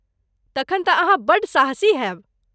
तखन तँ अहाँ बड्ड साहसी होयब!